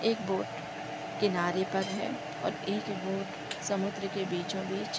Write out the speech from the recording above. एक बोट किनारे पर है और एक बोट समुद्र के बीचों-बिच --